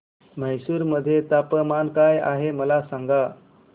म्हैसूर मध्ये तापमान काय आहे मला सांगा